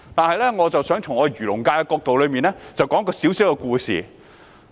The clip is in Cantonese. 然而，我想從漁農界的角度，說一個小故事。